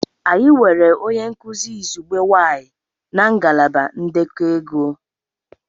Anyị nwere onye nkuzi izugbe nwanyị na ngalaba ndekọ ego.